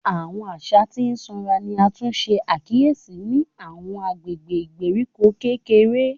Awọn aṣa ti sanra ni a tun ṣe akiyesi ni awọn agbegbe igberiko kekere